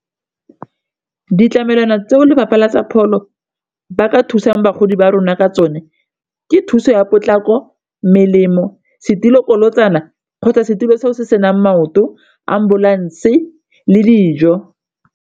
Ditlamelwana tseo lefapha la tsa pholo ba ka thusang bagodi ba rona ka tsone ke thuso ya potlako, melemo setilo bokolotsana kgotsa setilo se o se senang maoto, ambulance le dijo.